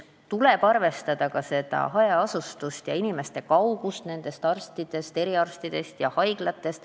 Tuleb arvestada ka hajaasustust ja inimeste elukohtade kaugust eriarstidest ja haiglatest.